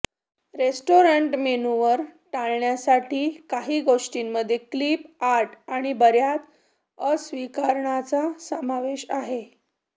restaurant मेनूवर टाळण्यासाठी काही गोष्टींमध्ये क्लिप आर्ट आणि बर्याच अस्वीकरणांचा समावेश आहे